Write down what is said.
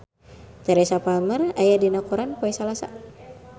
Teresa Palmer aya dina koran poe Salasa